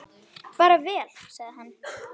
Bara vel, sagði hann.